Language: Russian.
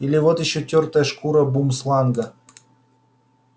или вот ещё тёртая шкура бумсланга